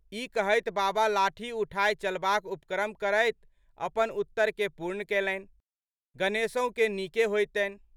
ई कहैत बाबा लाठी उठाय चलबाक उपक्रम करैत अपन उत्तरकेँ पूर्ण कयलनि,"गणेशहुके नीके होएतनि।